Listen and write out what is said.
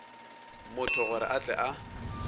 motho gore a tle a